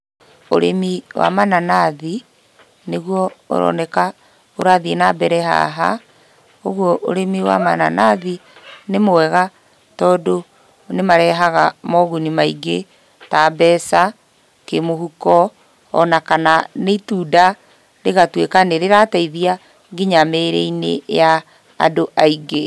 Ũrĩmi wa mananathi nĩguo ũroneka ũrathiĩ nambere haha, ũguo ũrĩmi wa mananathi nĩ mwega tondũ nĩmarehaga moguni maingĩ ta mbeca, kĩmũhuko, ona kana nĩ itunda rĩgatuĩka nĩrĩrateithia kinya mĩrĩ-inĩ ya andũ aingĩ.